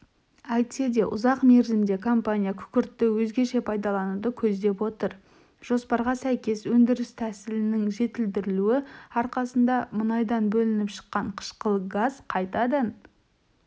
әйтсе де ұзақ мерзімде компания күкіртті өзгеше пайдалануды көздеп отыр жоспарға сәйкес өндіріс тәсілінің жетілдірілуі арқасында мұнайдан бөлініп шыққан қышқыл газ қайтадан